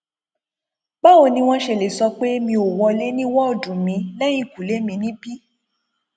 báwo ni wọn ṣe lè sọ pé mi ò wọlé ní woodu mi lẹhìnkùlé mi níbí